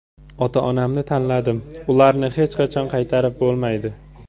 Ota-onamni tanladim, ularni hech qachon qaytarib bo‘lmaydi.